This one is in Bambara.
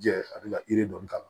Jɛ a bɛ ka yiri dɔɔni k'a la